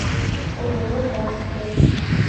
ооо барс бронь